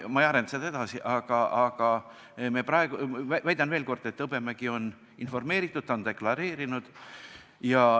Ma ei arenda seda teemat edasi, aga väidan veel kord, et Hõbemäge on informeeritud ja ta on seda deklareerinud.